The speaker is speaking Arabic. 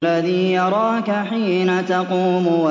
الَّذِي يَرَاكَ حِينَ تَقُومُ